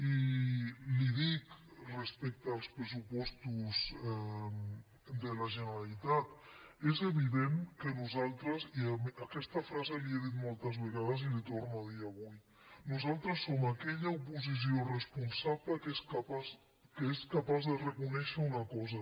i li dic respecte als pressupostos de la generalitat és evident que nosaltres i aquesta frase la hi he dit moltes vegades i la hi torno a dir avui som aquella oposició responsable que és capaç de reconèixer una cosa